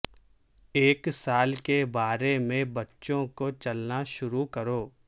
ایک سال کے بارے میں بچوں کو چلنا شروع کرو